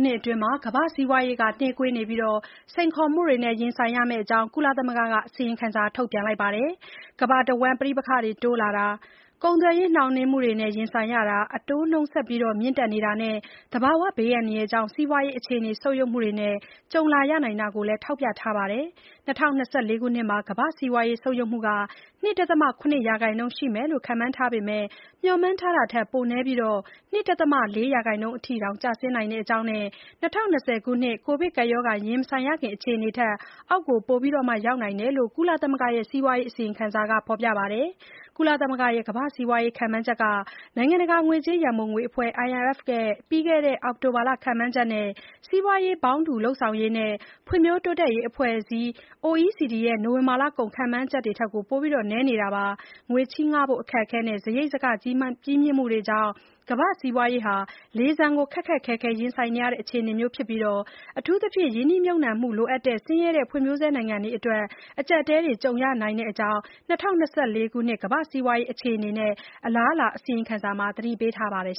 နှစ်အတွင်း ကမ္ဘာ့ စီးပွားရေးဟာ နှေးကွေးနေပြီး စိန်ခေါ်မှုတွေနဲ့ ရင်ဆိုင်ရမယ့်အကြောင်း ကုလသမဂ္ဂက အစီရင်ခံစာ ထုတ်ပြန်ပါတယ်။ ကမ္ဘာတဝှမ်း ပဋိပက္ခတွေ တိုးလာတာ၊ ကုန်သွယ်ရေး နှောင့်နှေးမှုတွေ ရင်ဆိုင်ရတာ၊ အတိုးနှုန်း ဆက်ပြီး မြင့်တက်နေတာတွေနဲ့ သဘာဝဘေးဒဏ်တွေကြောင့် စီးပွားရေး အခြေအနေ ဆုတ်ယုတ်မှုတွေ ကြုံလာရနိုင်တာကို ထောက်ပြပါတယ်။ ၂၀၂၄ မှာ ကမ္ဘာ့စီးပွားရေး ဆုတ်ယုတ်မှု ၂.၇ ရာခိုင်နှုန်းရှိမယ်လို့ ခန့်မှန်းထားပေမဲ့ မျှော်မှန်းထားတာထက် ပိုနည်းပြီး ၂.၄ ရာခိုင်နှုန်း အထိ ကျဆင်းနိုင်တဲ့အကြောင်း နဲ့ ၂၀၂၀ ခုနှစ် ကိုဗစ်ကပ်ရောဂါ ရင်မဆိုင်ရခင် အခြေအနေထက် အောက်ကို ရောက်နိုင်တယ်လို့ ကုလသဂ္ဂရဲ့ စီးပွားရေး အစီရင်ခံစာက ဖော်ပြပါတယ်။ ကုလသမဂ္ဂရဲ့ ကမ္ဘာ့စီးပွားရေး ခန့်မှန်းချက်က နိုင်ငံတကာ ငွေကြေးရံပုံငွေအဖွဲ့ IMF ရဲ့ ပြီးခဲ့တဲ့ အောက်တိုဘာလ ခန့်မှန်းချက်နဲ့ စီးပွားရေးပေါင်းတူ လုပ်ဆောင်ရေးနဲ့ ဖွဲ့ဖြိုးတိုးတက်ရေးအဖွဲ့အစည်း OECD တို့ရဲ့ နိုဝင်ဘာလကုန် ခန်းမှန်းချက်တွေထက် ပိုပြီး နည်းနေတာပါ။ ငွေချေးငှားဖို့ အခက်အခဲနဲ့ စားရိတ်စားက ကြီးမြင့်မှုတွေကြောင့် ကမ္ဘာ့စီးပွားရေးဟာ လေဆန်ကို ခက်ခက်ခဲခဲ ရင်ဆိုင်နေရတဲ့ အခြေအနေမျိုးဖြစ်ပြီး အထူးအသဖြင့် ရင်းနှီးမြှုပ်နှံမှု လိုအပ်တဲ့ ဆင်းရဲတဲ့ဖွံ့ဖြိုးဆဲနိုင်ငံတွေအတွက် အကြပ်အတည်းတွေ ကြုံနေရနိုင်တဲ့အကြောင်း ၂၀၂၄ ခုနှစ် ကမ္ဘာ့စီးပွားရေး အခြေအနေနဲ့ အလားအလာ အစီရင်ခံစာမှာ သတိပေးထားပါတယ်